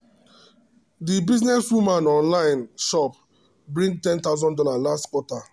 the businesswoman online shop bring one thousand dollars0 last quarter.